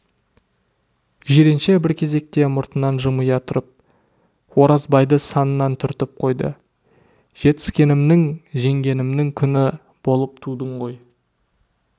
жиренше бір кезекте мұртынан жымия тұрып оразбайды санынан түртіп қойды жетіскенімнің жеңгенімнің күні болып тудың ғой